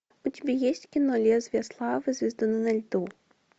у тебя есть кино лезвие славы звездуны на льду